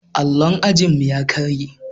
Allon ajinmu ya karye.